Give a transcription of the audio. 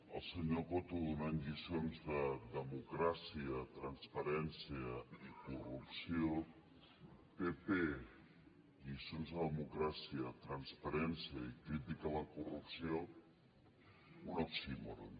el senyor coto donant lliçons de democràcia transparència i corrupció pp lliçons de democràcia transparència i crítica a la corrupció un oxímoron